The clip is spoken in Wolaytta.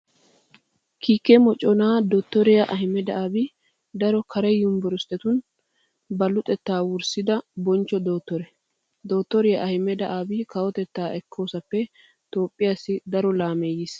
Kiike moconaa dottoriyaa Ahimada Abi daro kare yunvurshetuun ba luxettaa wurssida bonchcho dottore. Dottoriyaa Ahimada Abi kawotettaa ekkoosappe Toophphiyaasai daro laamee yiis.